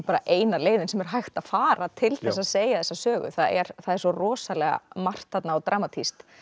eina leiðin sem er hægt að fara til að segja þessa sögu það er það er svo rosalega margt þarna og dramatískt